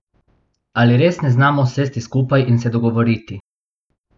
Ali res ne znamo sesti skupaj in se dogovoriti?